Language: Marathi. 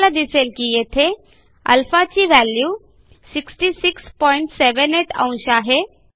आपल्याला दिसेल की येथे α ची व्हॅल्यू 6678 अंश आहे